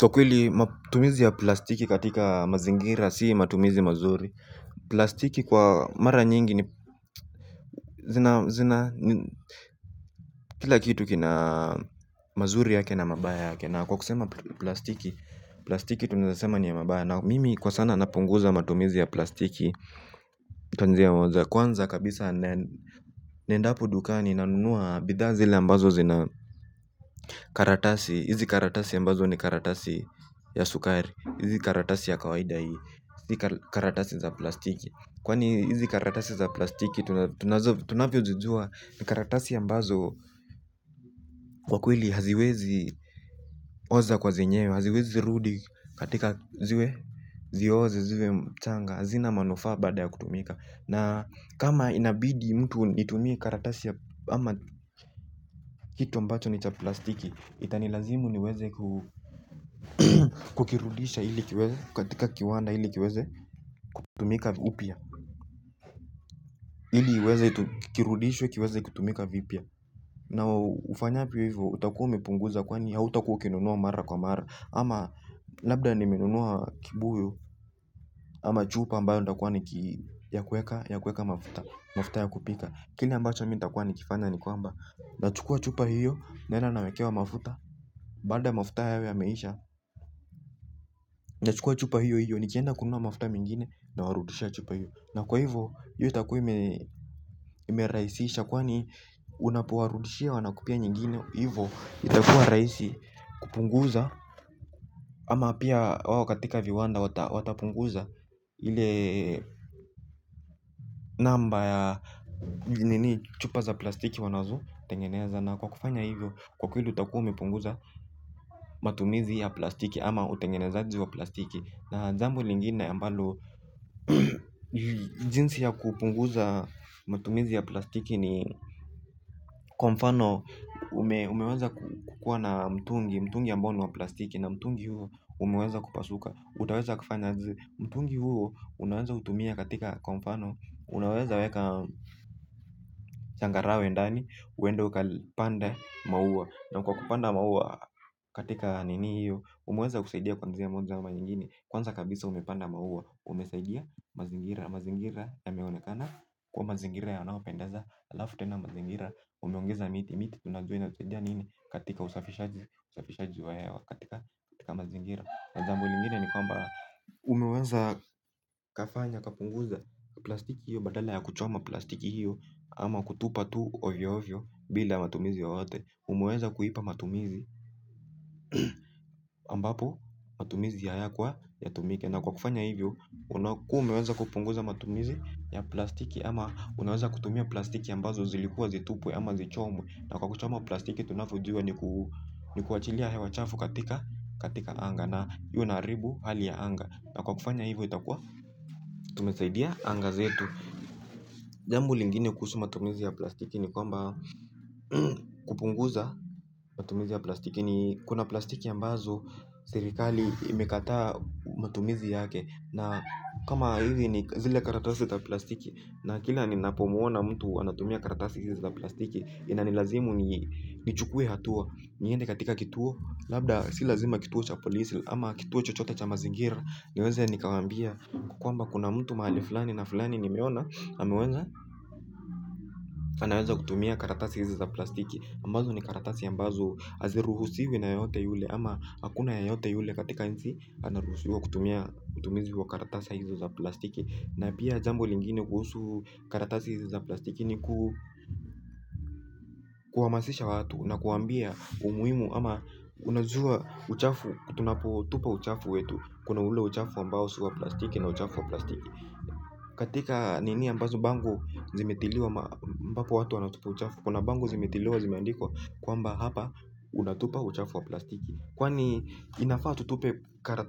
Kwa kweli matumizi ya plastiki katika mazingira si matumizi mazuri. Plastiki kwa mara nyingi ni zina zina kila kitu kina mazuri yake na mabaya yake. Na kwa kusema plastiki, plastiki tunasema ni ya mabaya. Na mimi kwa sana napunguza matumizi ya plastiki. Kwanza kabisa nendapO dukani na nunua bidhaa zile ambazo zina karatasi, hizi karatasi ambazo ni karatasi ya sukari. Hizi karatasi ya kawaida hii si karatasi za plastiki. Kwani hizi karatasi za plastiki. Tunavyojijua ni karatasi ambazo kwa kweli haziwezi oza kwa zenye haziwezi rudi katika ziwe zioze ziwe mchanga azina manufaa baada ya kutumika. Na kama inabidi mtu nitumie karatasi ya ama kitu ambacho ni cha plastiki. Itanilazimu niweze kukirudisha ili kiweze katika kiwanda ili kiweze kutumika upya. Ili iweze kirudishwe kiweze kutumika vipya. Na ufanyavyo hivyo utakuwa umepunguza kwani hautakuwa ukinunua mara kwa mara. Ama labda nimenunua kibuyu ama chupa ambayo ndakuwa ya kueka mafuta. Mafuta ya kupika. Kile ambacho mi nitakuwa nikifanya ni kwamba na chukua chupa hivyo naenda nawekewa mafuta. Baada ya mafuta hayo ya meisha. Na chukua chupa hiyo hiyo nikienda kununua mafuta mingine nawarudushia chupa hiyo. Na kwa hivyo iyo itakuwa imerahisisha kwani unapowarudishia wanakupea nyingine hivyo itakuwa rahisi kupunguza. Ama pia wao katika viwanda watapunguza ile namba ya chupa za plastiki wanazotengeneza. Na kwa kufanya hivyo kwa kweli utakuwa umepunguza matumizi ya plastiki ama utengenezaji wa plastiki. Na jambo lingine ambalo jinsi ya kupunguza matumizi ya plastiki ni kwa mfano umeweza kukuwa na mtungi mtungi ambao ni wa plastiki na mtungi huo umeweza kupasuka. Utaweza kufanya aje mtungi huo unaweza utumia katika kwa mfano unaweza weka changarawe ndani uende ukapande maua. Na kwa kupanda maua katika nini hiyo umeweza kusaidia kwa njia moja ama nyingine. Kwanza kabisa umepanda maua. Umesaidia mazingira. Mazingira yameonekana kuwa mazingira yanaopendaza. Alafu tena mazingira umeongeza miti miti tunajua inasaidia nini. Katika usafishaji wa hewa katika mazingira na jambo lingine ni kwamba umeweza kafanya kapunguza plastiki hiyo. Badala ya kuchoma plastiki hiyo ama kutupa tu ovyo ovyo. Bila matumizi yoyote umeweza kuipa matumizi ambapo matumizi hayakwa yatumike na kwa kufanya hivyo unakuwa umeweza kupunguza matumizi ya plastiki ama unaweza kutumia plastiki ambazo zilikuwa zitupwe ama zichomwe na kwa kuchoma plastiki tunavyojua ni ni kuachilia hewa chafu katika katika anga na hiyo inaharibu hali ya anga na kwa kufanya hivyo itakuwa tumesaidia anga zetu jambo lingine kuhusu matumizi ya plastiki ni kwamba kupunguza matumizi ya plastiki ni kuna plastiki ambazo serikali imekataa matumizi yake na kama hizi ni zile karatasi za plastiki na kila ninapomwona anatumia karatasi hizi za plastiki inanilazimu ni ni chukue hatua. Niende katika kituo. Labda si lazima kituo cha polisi. Ama kituo chochote cha mazingira. Niweze nikawaambia huku kwamba kuna mtu mahali fulani na fulani nimeona ameweza anaweza kutumia karatasi hizi za plastiki ambazo ni karatasi ambazo haziruhisiwi na yeyote yule. Ama hakuna yeyote yule katika nchi anaruhusiwa kutumia utumizi wa karatasa hizi za plastiki. Na pia jambo lingine kuhusu karatasi hizi za plastiki ni kuhamasisha watu na kuwaambia umuhimu ama unajua uchafu tunapotupa uchafu wetu. Kuna ule uchafu ambao si wa plastiki na uchafu wa plastiki. Katika nini ambazo bango zimetiliwa ambapo watu wanatupa uchafu kuna bango zimetiliwa zimeandikwa kwamba hapa unatupa uchafu wa plastiki. Kwani inafaa tutupe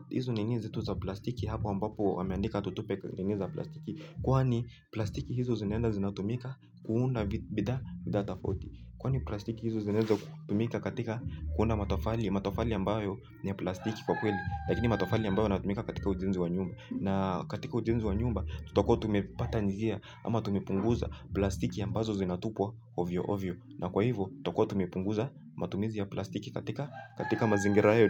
hizo nini zetu za plastiki hapa ambapo wameandika tutupe nini za plastiki. Kwani plastiki hizo zinaenda zinatumika. Kuunda bidhaa bidhaa tofauti kwani plastiki hizo zinaeza kutumika katika kuunda matofali matofali ambayo ni ya plastiki kwa kweli lakini matofali ambayo inatumika katika ujenzi wa nyumba na katika ujenzi wa nyumba tutakuwa tumepata njia ama tumepunguza plastiki ambazo zinatupwa ovyo ovyo. Na kwa hivyo, tutakuwa tumepunguza matumizi ya plastiki katika mazingira yo.